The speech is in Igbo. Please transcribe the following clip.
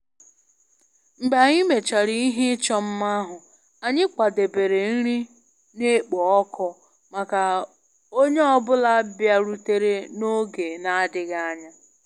Mgbe anyị mechara ihe ịchọ mma ahụ, anyị kwadebere nri na-ekpo ọkụ maka onye ọ bụla bịarutere n'oge na-adịghị anya